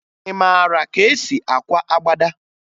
Ị mara ka e si akwa agbada?